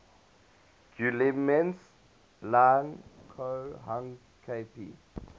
guillemets lang ko hang kp